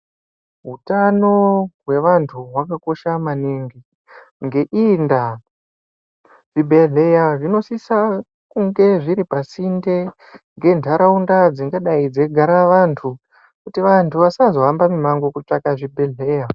Utano hwevanthu hwakakosha maningi ngeiyi ndaa zvibhedhleya zvinosisa kungezviri pasinde ngentaraunda dzingadai dzeigare vanthu kuti vanthu vasazohamba mumango kutsvaka zvibhedhlera.